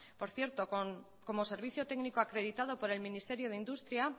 por cierto como servicio técnico acreditado por el ministerio de industria